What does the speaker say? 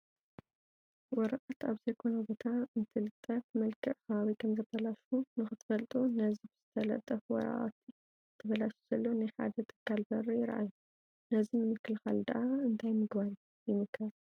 ወረቐት ኣብ ዘይኮነ ቦታ እንትልጠፍ መልክዕ ከባቢ ከምዘበላሹ ንክትፈልጡ ነዚ ብዝተለጠፉ ወረቓቕቲ ተበላሽዩ ዘሎ ናይ ሓደ ትካል በሪ ርአዩ፡፡ ነዚ ንምክልኻል ድኣ እንታይ ምግባር ይምከር?